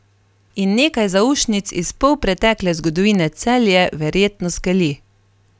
In nekaj zaušnic iz polpretekle zgodovine Celje verjetno skeli.